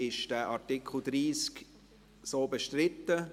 Ist dieser Artikel 30 so bestritten?